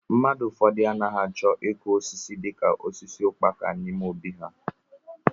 Mmadụ ụfọdụ anaghị achọ ịkụ osisi dị ka osisi ukpaka n'ime óbị ha.